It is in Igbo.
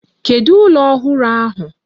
Kedu ụlọ ọhụrụ ahụ?